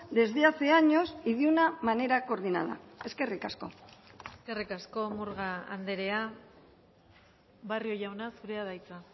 desde hace años y de una manera coordinada eskerrik asko eskerrik asko murga andrea barrio jauna zurea da hitza